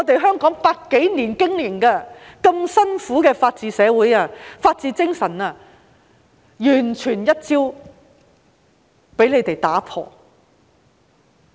香港一百多年來辛苦經營的法治社會和法治精神，已被他們完全一朝打破。